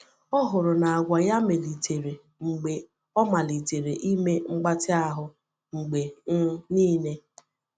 O hụrụ na àgwà ya melitere mgbe ọ malitere ime mgbatị ahụ mgbe um niile.